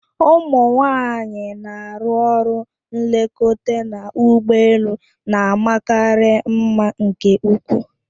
Ụmụ nwanyị na-arụ ọrụ nlekọta n'ụgbọelu na-amakarị mma nke ukwu.